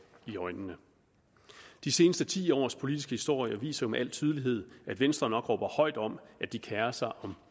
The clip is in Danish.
i øjnene de seneste ti års politiske historie viser jo med al tydelighed at venstre nok råber højt om at de kerer sig om